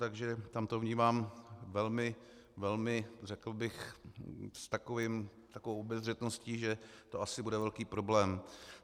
Takže tam to vnímám velmi, velmi, řekl bych, s takovou obezřetností, že to asi bude velký problém.